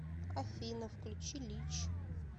афина включи лич